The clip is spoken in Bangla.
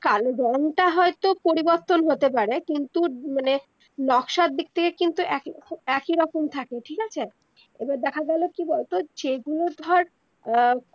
কালো রংটা হয়তো পরিবর্তন হতে পারে কিন্তু মানে নক্সার দিগ থেকে কিন্তু একে একে রকম থাকে ঠিক আছে এবার দেখা গেলো কি বল তো যেগুলো ধর আহ